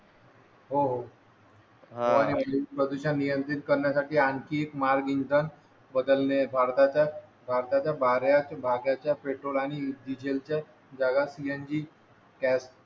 हो हो प्रदूषण नियंत्रित करण्यासाठी आणखीन मार्ग इंधन बदलले भारताच्या भारताच्या भागाच्या पेट्रोल आणि डिझेलच्या जगात